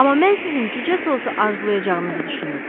Amma mən sizin cücə sousu arzulayacağınızı düşünürdüm.